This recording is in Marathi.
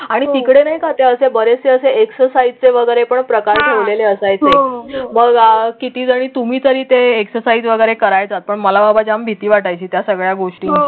आणि तिकडे नाही का ते असे बरेचसे असे एक्सरसाइज वगैरे पण प्रकार ठेवलेले असायचे . मग किती जरी तुम्ही जरी ते एक्सरसाइज वगैरे करायचा. पण मला बाबां जाम भीती वाटायची त्या सगळ्या गोष्टी.